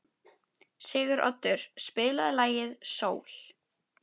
Siguroddur, spilaðu lagið „Sól“.